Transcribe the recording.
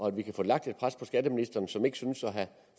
at vi kan få lagt et pres på skatteministeren som ikke synes at have